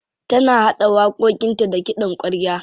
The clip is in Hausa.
Tana haɗa waƙoƙinta da kiɗan ƙwarya.